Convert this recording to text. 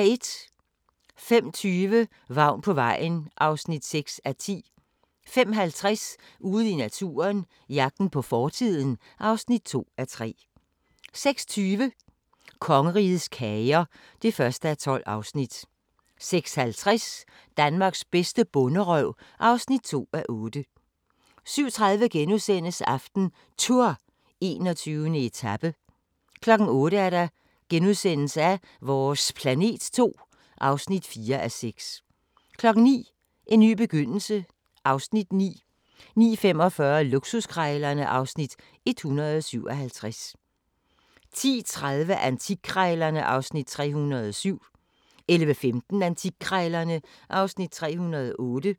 05:20: Vagn på vejen (6:10) 05:50: Ude i naturen – jagten på fortiden (2:3) 06:20: Kongerigets kager (1:12) 06:50: Danmarks bedste bonderøv (2:8) 07:30: AftenTour: 21. etape * 08:00: Vores planet 2 (4:6)* 09:00: En ny begyndelse (Afs. 9) 09:45: Luksuskrejlerne (Afs. 157) 10:30: Antikkrejlerne (Afs. 307) 11:15: Antikkrejlerne (Afs. 308)